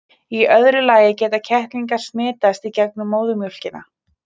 í öðru lagi geta kettlingar smitast í gegnum móðurmjólkina